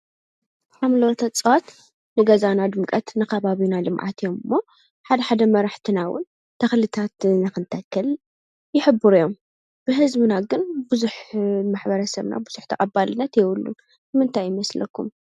ኣምሎተኣጽዋት ንገዛና ድምቀት ነኻባብዩና ልምዓት እዮም ሞ ሓድ ሓደ መራሕ ትናውን ተኽልታት ነኽንተክል ይሕቡሩ እዮም ብሕዝምና ግን ብዙኅ መኅበረ ሰምና ብዙኅ ተቐባልነት የውሉን ምንታይ ይመስለኩም?